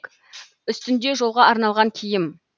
үстінде жолға арналған киім